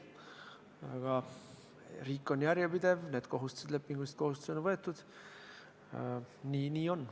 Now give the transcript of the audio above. Aga riik on järjepidev ja need lepingulised kohustused on võetud, nii on.